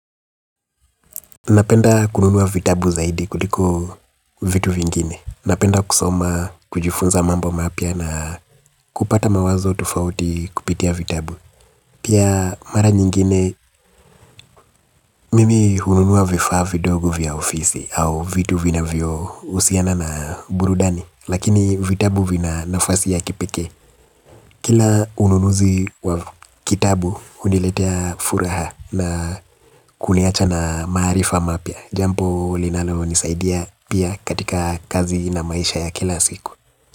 Napenda kununua vitabu zaidi kuliko vitu vingine. Napenda kusoma, kujifunza mambo mapya na kupata mawazo tofauti kupitia vitabu. Pia mara nyingine mimi hununua vifaa vidogo vya ofisi au vitu vinavyo husiana na burudani. Lakini vitabu vina nafasi ya kipekee. Kila ununuzi wa kitabu huniletea furaha na kuniacha na maarifa mapya. Jambo linalonisaidia pia katika kazi na maisha ya kila siku.